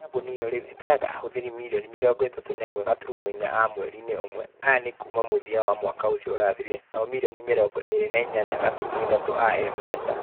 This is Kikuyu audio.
Kambuni ĩyo rĩu ĩtaraga ahũthiri mirioni mĩrongo itatu na ĩmwe gaturumo inya a mweri-ĩnĩ ũmwe. Aya ni a kuuma mũthia wa mwaka ũcio ũrathirire. Nao mirioni mĩrongo ĩrĩ na inyanya gaturumo ithatũ a M-Pesa.